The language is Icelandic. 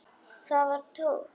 Það var Tóti.